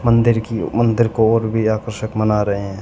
मंदिर की मंदिर को और भी आकर्षक मना रहे हैं।